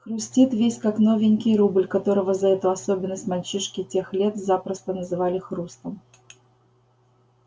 хрустит весь как новенький рубль которого за эту особенность мальчишки тех лет запросто называли хрустом